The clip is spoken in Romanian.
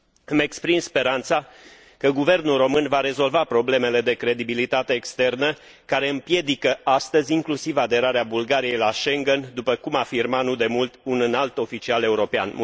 Îmi exprim speranța că guvernul român va rezolva problemele de credibilitate externă, care împiedică astăzi inclusiv aderarea Bulgariei la Schengen, după cum afirma, nu demult, un înalt oficial european.